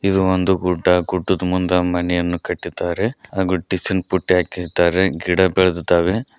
ಇದು ಒಂದು ಗುಡ್ಡ ಗುಡ್ಡದ ಮುಂದೆ ಒಂದು ಮನೆಯನ್ನು ಕಟ್ಟಿದ್ದಾರೆ ಹಾಗು ಡಿಷಿನ್ ಪುಟ್ಟಿ ಹಾಕಿಸಿದ್ದಾರೆ ಗಿಡ ಬೆಳೆದಿದ್ದಾವೆ.